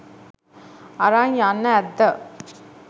අරන් යන්න ඇත්ද.